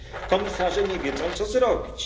Komisarze nie wiedzą, co zrobić.